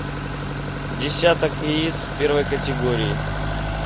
десяток яиц первой категории